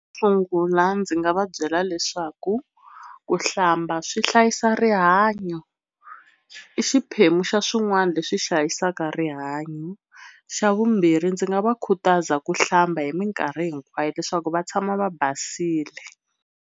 Xo sungula ndzi nga va byela leswaku ku hlamba swi hlayisa rihanyo i xiphemu xa swin'wana leswi hlayisaka rihanyo. Xa vumbirhi ndzi nga va khutaza ku hlamba hi minkarhi hinkwayo leswaku va tshama va basile.